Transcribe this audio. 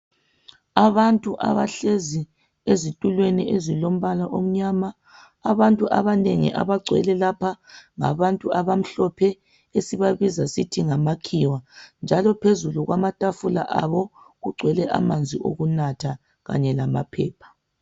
Abantu abahlezi ezitulweni ezilombala omnyama. Abantu abanengi abagcwele lapha ngabantu abamhlophe esibabiza sithi ngamakhiwa njalo phezulu kwamatafula abo kugcwele amanzi okunatha kanye lamaphepha.